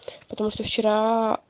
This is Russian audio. потому что вчера